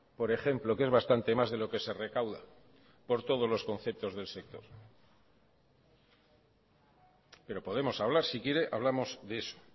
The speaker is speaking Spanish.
por ejemplo que es bastante más de lo que se recauda por todos los conceptos del sector pero podemos hablar si quiere hablamos de eso